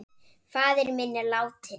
Faðir minn er látinn.